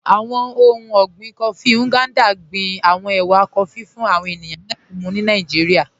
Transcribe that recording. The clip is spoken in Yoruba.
Àwọn ọ̀hun ọ̀gbìn kófí Ngandà gbìn àwọn èwà kófí fún àwọn ènìyàn láti mú ni Nàìjíríà.